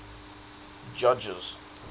judges